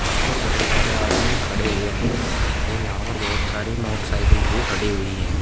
यहां पर बहोत सारे आदमी खड़े हुए हैं और यहां पर बहोत सारी मोटरसाइकिल भी खड़ी हुई है।